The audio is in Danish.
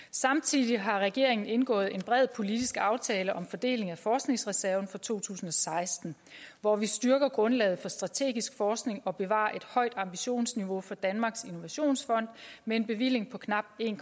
samtidig har regeringen indgået en bred politisk aftale om fordeling af forskningsreserven for to tusind og seksten hvor vi styrker grundlaget for strategisk forskning og bevarer et højt ambitionsniveau for danmarks innovationsfond med en bevilling på knap en